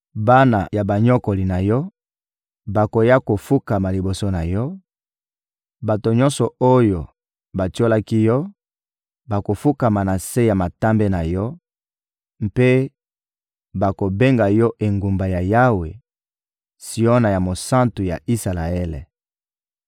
Bana ya banyokoli na yo bakoya kofukama liboso na yo; bato nyonso oyo batiolaki yo bakofukama na se ya matambe na yo mpe bakobenga yo Engumba ya Yawe, Siona ya Mosantu ya Isalaele.